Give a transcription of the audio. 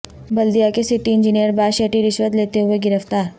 بلدیہ کے city engineer باشیٹی رشوت لیتے ہوئے گرفتار